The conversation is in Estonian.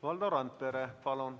Valdo Randpere, palun!